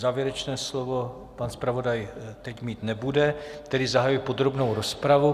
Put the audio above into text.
Závěrečné slovo pan zpravodaj teď mít nebude, tedy zahajuji podrobnou rozpravu.